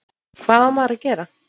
Hvað á maður að gera?